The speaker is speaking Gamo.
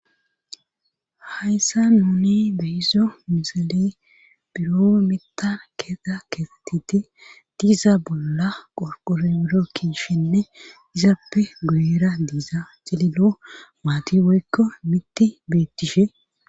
hayssa nuni behizo misale biro metan keeta keefettiti diiza bolla qorqoro biro kishenne izappe guyera diiza cililo maati boykko mitti beettishe